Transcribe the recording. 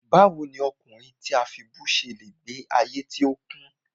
Báwo ni ọkùnrin tí a fibú ṣe le gbe ayé tí ó kún?